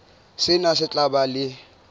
sena se tla ba le